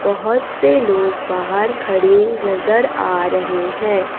बहोत से लोग बाहर खड़े नजर आ रहे है।